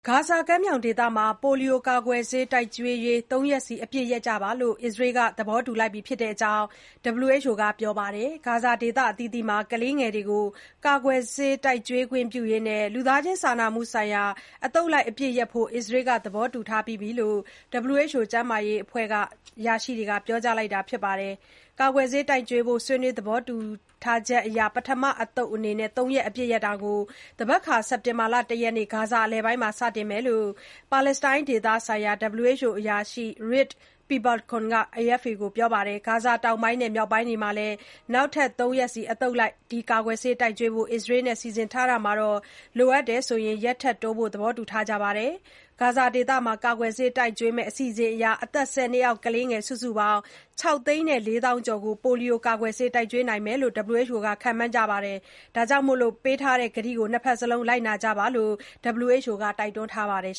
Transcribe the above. ဂါဇာကမ်းမြောင်ဒေသမှာ ပိုလီယိုကာကွယ်ဆေး တိုက်ကျွေးရေး ၃ ရက်စီ အပစ်ရပ်ဖို့ အစ္စရေးက သဘောတူလိုက်ပြီလို့ WHO က ပြောပါတယ်။ ဂါဇာဒေသအသီးသီးမှာ ကလေးငယ်တွေကို ကာကွယ်ဆေးတိုက်ကျွေးခွင့်ပြုရေး၊ လူသားချင်းစာနာမှုဆိုင်ရာ အသုတ်လိုက် အပစ်ရပ်ဖို့ အစ္စရေးက သဘောတူထားပြီးပြီလို့ WHO ကမ္ဘာ့ကျန်းမာရေးအဖွဲ့ အရာရှိတွေက ပြောကြားလိုက်တာပါ။ ကာကွယ်ဆေးတိုက်ကျွေးဖို့ ဆွေးနွေးသဘောတူထားချက်အရ၊ ပထမ အသုတ် ၃ ရက် အပစ်ရပ်တာကို သန်ဘက်ခါ စက်တင်ဘာ ၁ ရက်နေ့ ဂါဇာအလယ်ပိုင်းမှာ စတင်မှာဖြစ်တယ်လို့၊ ပါလက်စတိုင်းဒေသဆိုင်ရာ WHO အရာရှိ Rik Peeperkorn က AFP ကို ပြောပါတယ်။ ဂါဇာ တောင်ပိုင်းနဲ့ မြောက်ပိုင်းတွေမှာလည်း နောက်ထပ် ၃ ရက်စီ အသုတ်လိုက် ဒီကာကွယ်ဆေးတိုက်ကျွေးဖို့ အစ္စရေးနဲ့ စီစဉ်ထားတာမှာ၊ လိုအပ်ရင် ရက်ထပ်တိုးဖို့လည်း သဘောတူထားပါတယ်လို့ Peeperkorn ကပြောခဲ့ပါတယ်။ ဂါဇာဒေသမှာ ကာကွယ်ဆေးတိုက်ကျွေးမယ့် အစီအစဉ်အရ အသက် ၁၀ နှစ်အောက် ကလေးငယ် စုစုပေါင်း ၆ သိန်း ၄ သောင်းကျော်ကို ပိုလီယိုကာကွယ်ဆေး တိုက်ကျွေးနိုင်မယ်လို့ WHO က ခန့်မှန်းထားပါတယ်။ ပေးထားတဲ့ကတိကို ၂ ဘက်လုံး လိုက်ကြဖို့ WHO ဒုညွှန်ချုပ် Michael Ryan ကတိုက်တွန်းပါတယ်